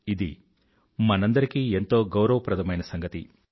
ఇది మనందరికీ ఎంతో గౌరవప్రదమైన సంగతి